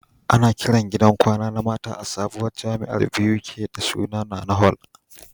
Ana Kiran gidan kwana na mata a sabuwar jamiar Buk da suna NaNa hall